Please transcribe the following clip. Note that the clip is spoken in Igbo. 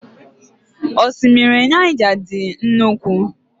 Osimiri Naija dị nnukwu